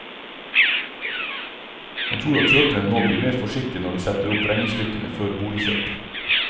Han tror at kjøperne nå blir mer forsiktige når de setter opp regnestykkene før boligkjøp.